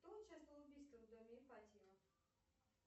кто участвовал в убийстве в доме ипатьева